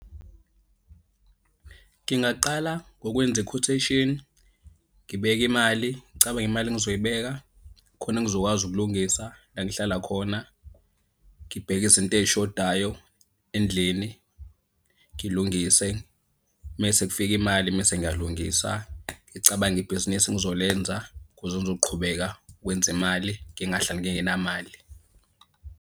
Ngingaqala ngokwenza iquotation ngibeke imali, ngicabange imali engizoyibeka khona ngizokwazi ukulungisa la engihlala khona. Ngibheke izinto ey'shodayo endlini, ngilungise, mese kufike imali mese ngiyalungisa. Ngicabange ibhizinisi engizolenza ukuze ngizoqhubeka ukwenza imali ngingahlali ngingenamali.